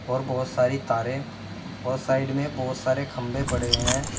बहुत सारी तारें और साइड में बहुत सारे खंभे पड़े है।